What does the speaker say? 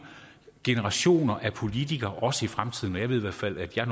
generationer af politikere også i fremtiden jeg ved i hvert fald at jeg